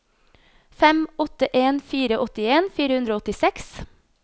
fem åtte en fire åttien fire hundre og åttiseks